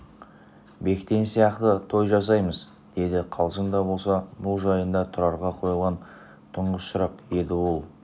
бектен сияқты той жасаймыз деді қалжың да болса бұл жайында тұрарға қойылған тұңғыш сұрақ еді ол